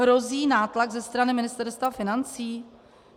Hrozí nátlak ze strany Ministerstva financí?